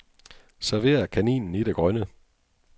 Server kaninen i det grønne.